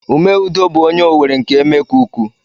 Ume Udo bu onye Owerri nke Emekuku.